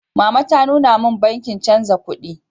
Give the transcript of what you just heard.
Mama ta nuna min bankin chanza kuɗi.